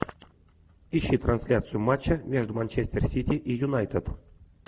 ищи трансляцию матча между манчестер сити и юнайтед